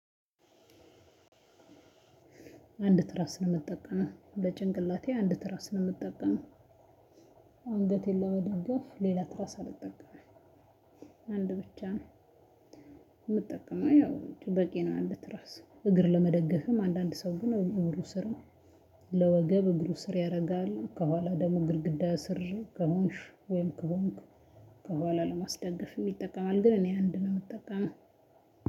አንድ ትራስ ነው ምጠቀመው በጭንቅላቴ አንድ ትራስ ነው ምጠቀመው። አንገቴን ለመደገፍ ሌላ ትራስ አልጠቀምም አንድ ብቻ ነው። ምጠቀመው ያው በቂ ነው። አንድ ትራስ እግር ለመደገፍም አንዳንድ ሰው ግን እግሩ ስር ነው። ለወገብ እግሩ ስር ያደርጋል ከኋላ ደግሞ ግድግዳ ስር ከሙሽ ወይም ከሆንክ ለማስደገፍ ይጠቀማል። ግን እኔ አንድ ነው የምጠቀመው